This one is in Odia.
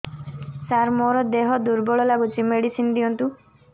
ସାର ମୋର ଦେହ ଦୁର୍ବଳ ଲାଗୁଚି ମେଡିସିନ ଦିଅନ୍ତୁ